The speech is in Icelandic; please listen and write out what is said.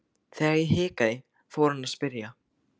Þegar ég hikaði fór hann að spyrja.